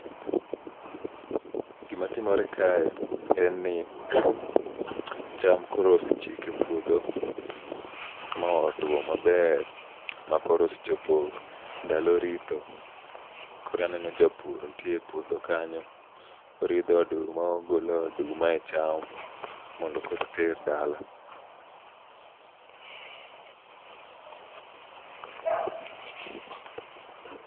Gima timore kae, en ni cham koro osechiek e puodho. Ma otwo maber, ma koro e osechopo ndalo ritho. Koro aneno japur nitie e puodho kanyo, oridho oduma ogolo oduma e cham, mondo koro oter dala.